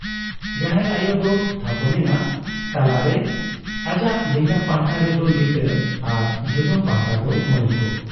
ᱡᱟᱦᱮᱨ ᱟᱭᱚ ᱫᱚ ᱛᱷᱟᱯᱚᱱ ᱮᱱᱟ ᱛᱟᱞᱟ ᱨᱮ ᱾ᱟᱡᱟᱜ ᱞᱟᱸᱜᱟ ᱯᱟᱦᱴᱟ ᱨᱮᱫᱚ ᱞᱤᱴᱟᱹ ᱟᱨ ᱡᱚᱡᱚᱢ ᱯᱟᱦᱴᱟ ᱫᱚ ᱢᱚᱬᱮ ᱠᱚ ᱾